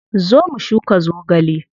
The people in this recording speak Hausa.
Zo mu shuka zogale.